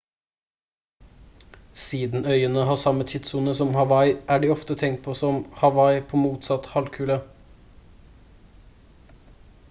siden øyene har samme tidssone som hawaii er de ofte tenkt på som «hawaii på motsatt halvkule»